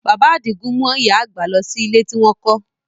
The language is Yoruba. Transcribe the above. Bàbá Àdìgún mú ìyá àgbà lọ sí ilé tí wọ́n kọ́